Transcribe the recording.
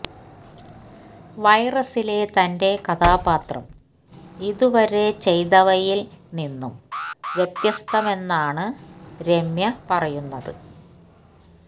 വൈറസിലെ തന്റെ കഥാപാത്രം ഇതുവരെ ചെയ്തവയില് നിന്നും വ്യത്യസ്തമാമെന്നാണ് രമ്യ പറയുന്നത്